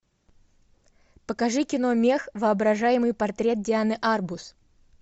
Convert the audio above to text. покажи кино мех воображаемый портрет дианы арбус